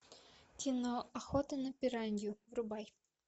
кино охота на пиранью врубай